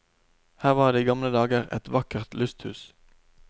Her var det i gamle dager et vakkert lysthus.